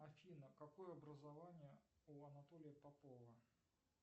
афина какое образование у анатолия попова